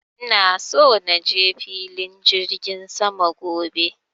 ina so naje filin jirgin sama gobe